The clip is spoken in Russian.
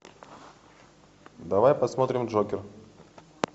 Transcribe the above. давай посмотрим джокер